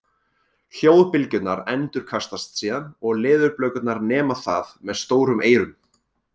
Hljóðbylgjurnar endurkastast síðan og leðurblökurnar nema það með stórum eyrum.